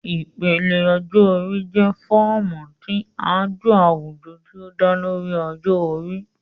Ipele ọjọ-ori jẹ fọọmu ti ajo awujọ ti o da lori ọjọ-ori